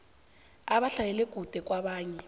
abahlalela kude kwabanye